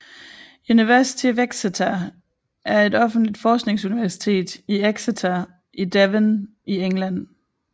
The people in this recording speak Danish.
University of Exeter er et offentligt forskningsuniversitet i Exeter i Devon i England